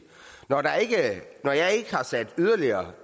når jeg ikke har sat yderligere